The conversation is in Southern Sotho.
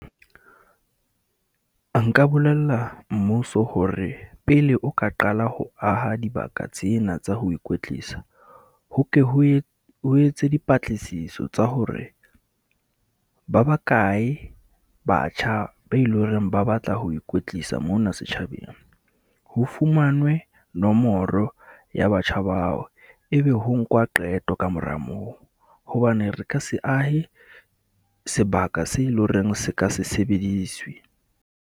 Nka bolella mmuso hore pele o ka qala ho aha dibaka tsena tsa ho ikwetlisa, ho ke ho , ho etse dipatlisiso tsa hore ba bakae batjha be e le horeng ba batla ho ikwetlisa mona setjhabeng. Ho fumanwe nomoro ya batjha bao, e be ho nkwa qeto kamora moo. Hobane re ka se ahe sebaka se e le horeng se ka se sebediswe.